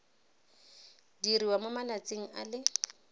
diriwa mo malatsing a le